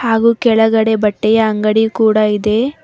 ಹಾಗು ಕೆಳಗಡೆ ಬಟ್ಟೆಯ ಅಂಗಡಿ ಕೂಡ ಇದೆ.